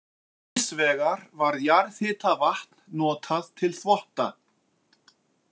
Hins vegar var jarðhitavatn notað til þvotta.